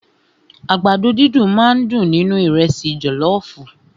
Àgbàdo dídùn máà ń dùn nínú ìrẹ́sì jọlọọfu.